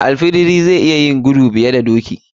Al fidiri zai iya yin gudu fiye da doki.